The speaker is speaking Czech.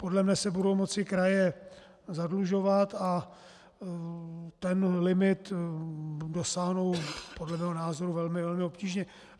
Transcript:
Podle mne se budou moci kraje zadlužovat a ten limit dosáhnou podle mého názoru velmi obtížně.